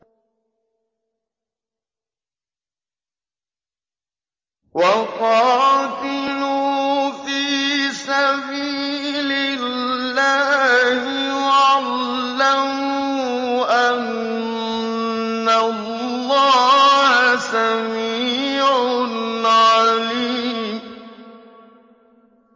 وَقَاتِلُوا فِي سَبِيلِ اللَّهِ وَاعْلَمُوا أَنَّ اللَّهَ سَمِيعٌ عَلِيمٌ